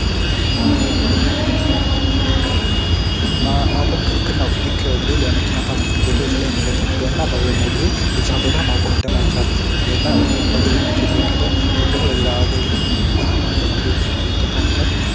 ማቆም ክልክል ነው ። ይህ እንግዲህ ለመኪና ፖርኪንግ ቦታዎች ላይ የሚለጠፍ ሲሆን እና በአብዛኛው ጊዜ እዛ ቦታ ማቆም እንደማይቻል እና ለእግረኛ ብቻ የተፈቀደ ወይም ደግሞ ለሌላ አገልግሎት የሚውል ቦታ መሆኑን ለማሳየት ይጠቀሙበታል ።